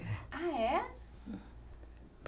Ah, é?